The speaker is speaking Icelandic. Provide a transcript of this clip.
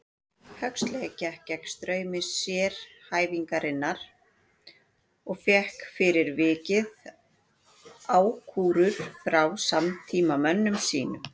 Huxley gekk gegn straumi sérhæfingarinnar og fékk fyrir vikið ákúrur frá samtímamönnum sínum.